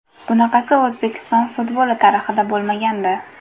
Bunaqasi O‘zbekiston futboli tarixida bo‘lmagandi.